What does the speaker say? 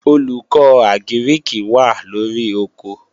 Olùkọ́ Àgírìkì wà lóri oko